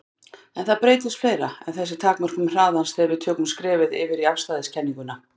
En það breytist fleira en þessi takmörkun hraðans þegar við tökum skrefið yfir í afstæðiskenninguna.